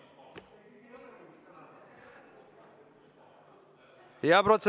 Jürgen Ligi!